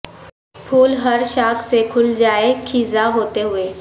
پھول ہر شاخ سے کھل جائیں خزاں ہوتے ہوئے